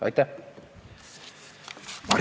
Aitäh!